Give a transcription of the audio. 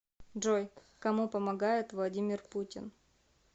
джой кому помогает владимир путин